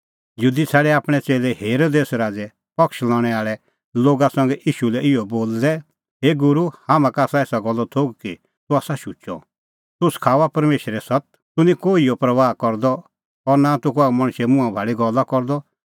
यहूदी छ़ाडै आपणैं च़ेल्लै हेरोदेस राज़े पक्ष लणै आल़ै लोगा संघै ईशू लै इहअ बोलदै हे गूरू हाम्हां का आसा एसा गल्लो थोघ कि तूह आसा शुचअ तूह सखाऊआ परमेशरे सत्त तूह निं कोहिए परबाह करदअ और नां तूह कसा मणछे मुंहां भाल़ी गल्ला करदअ